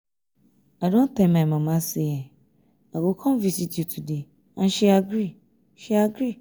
i don tell my mama say i go come visit you today and she agree she agree